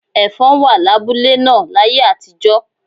Ẹ̀fọ̀n wà lábúlé náà láyé àtijọ́.